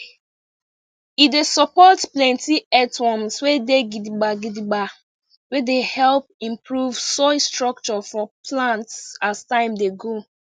e dey support plenty earthworms wey gidigba gidigba wey dey help improve soil structure for plants as time dey go